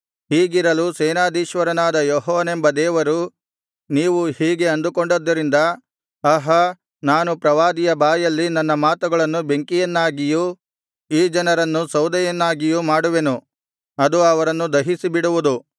ಹೀಗಿರಲು ಸೇನಾಧೀಶ್ವರನಾದ ಯೆಹೋವನೆಂಬ ದೇವರು ನೀವು ಹೀಗೆ ಅಂದುಕೊಂಡಿದ್ದರಿಂದ ಆಹಾ ನಾನು ಪ್ರವಾದಿಯ ಬಾಯಲ್ಲಿನ ನನ್ನ ಮಾತುಗಳನ್ನು ಬೆಂಕಿಯನ್ನಾಗಿಯೂ ಈ ಜನರನ್ನು ಸೌದೆಯನ್ನಾಗಿಯೂ ಮಾಡುವೆನು ಅದು ಅವರನ್ನು ದಹಿಸಿಬಿಡುವುದು